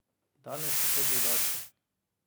Danes je to drugače.